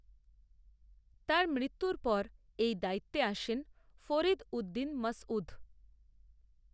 তার মৃত্যুর পর এই দায়িত্বে আসেন ফরীদ উদ্দীন মাসঊদ।